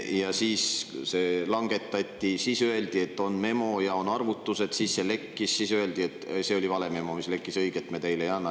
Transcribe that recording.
Ja siis seda langetati, siis öeldi, et on memo ja on arvutused, siis see lekkis, aga öeldi, et see oli vale memo, mis lekkis, õiget me teile ei anna.